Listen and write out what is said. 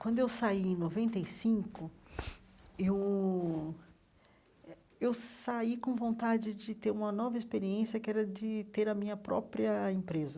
Quando eu saí em noventa e cinco, eu eh eu saí com vontade de ter uma nova experiência, que era de ter a minha própria empresa.